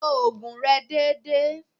Lo ògùn rẹ dédé.